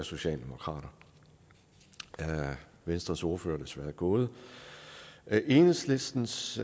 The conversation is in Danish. socialdemokrater venstres ordfører er desværre gået enhedslistens